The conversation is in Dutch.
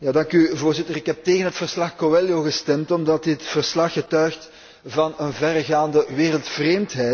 Voorzitter, ik heb tegen het verslag Coelho gestemd omdat dit verslag getuigt van een verregaande wereldvreemdheid.